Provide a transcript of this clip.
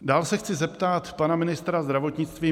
Dál se chci zeptat pana ministra zdravotnictví.